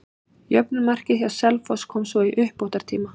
Jöfnunarmarkið hjá Selfoss kom svo í uppbótartíma.